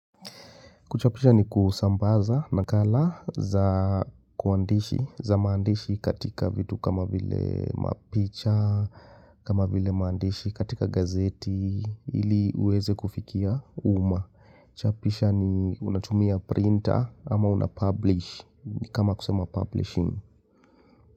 Kuchapisha ni kusambaza nakala za kuandishi, za maandishi katika vitu kama vile mapicha, kama vile maandishi katika gazeti, ili uweze kufikia umma. Chapisha ni unachumia printer ama unapublish, ni kama kusema publishing.